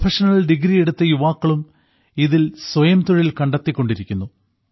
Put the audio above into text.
professional degree എടുത്ത യുവാക്കളും ഇതിൽ സ്വയംതൊഴിൽ കണ്ടെത്തിക്കൊണ്ടിരിക്കുന്നു